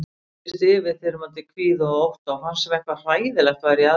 Ég fylltist yfirþyrmandi kvíða og ótta og fannst sem eitthvað hræðilegt væri í aðsigi.